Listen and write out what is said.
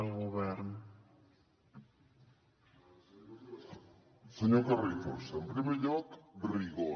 senyor carrizosa en primer lloc rigor